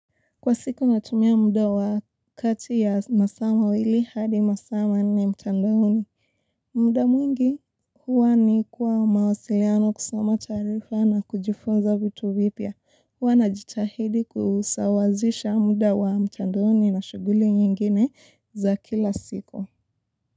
Kwa siku natumia muda wa kati ya masaa mawili hadi masaa manne mtandaoni. Mda mwingi huwa ni kwa mawasiliano kusoma taarifa na kujifunza vitu vipya. Huwa najitahidi kusawazisha mda wa mtandaoni na shughuli nyingine za kila siku.